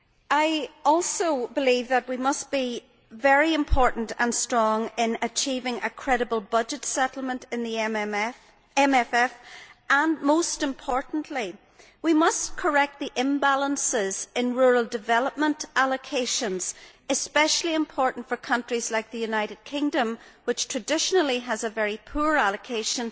I also believe it is important that we must be very strong in achieving a credible budget settlement in the MFF and, most importantly, we must correct the imbalances in rural development allocations this is especially important for countries like the United Kingdom, which traditionally has a very poor allocation.